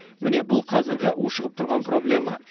міне бұл қазіргі ушығып тұрған проблема